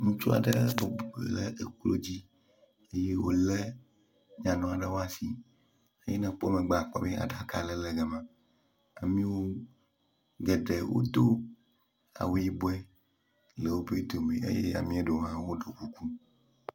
Ŋutsu aɖe bubɔ le eƒe klo dzi wòle nyanu aɖe woasi eye ne ekpɔ megbe akpɔ be aɖaka aɖe le gama, ameao geɖe wodo awu yibɔɛ le wobe dome eye ameaɖewo hã woɖɔ kuku.